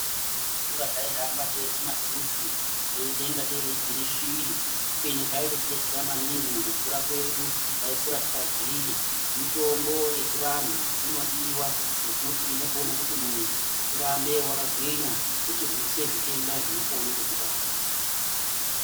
Pataikura taihamba teirye machuchu teitaingatei tiri shiri kubeni zvaitotibetsera maningi mukukura kwedu taikura takagwinya mitombo yechivanhu inodiwa ngekuti inokone kuti munhu urambe wakagwinya yeirwise zvitenda zvinokone kukubata.